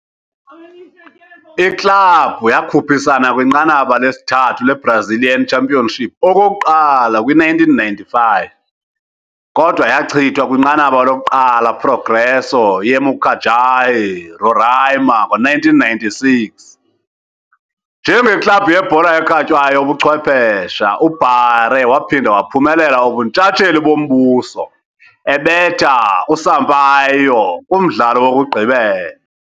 Iklabhu yakhuphisana kwiNqanaba lesithathu le-Brazilian Championship okokuqala kwi-1995, kodwa yachithwa kwinqanaba lokuqala Progresso, ye-Mucajaí, Roraima. Ngo-1996, njengeklabhu yebhola ekhatywayo yobuchwephesha, uBaré waphinda waphumelela ubuntshatsheli bombuso, ebetha uSampaio kumdlalo wokugqibela.